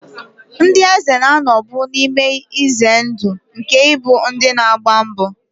Ndị eze na-anọbu n'ihe ize ndụ nke ịbụ ndị na-agba mbọ.